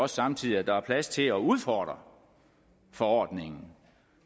samtidig at der er plads til at udfordre forordningen